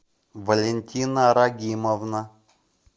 валентина рагимовна